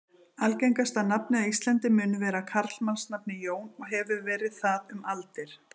Algengasta nafnið á Íslandi mun vera karlmannsnafnið Jón og hefur verið það um aldir.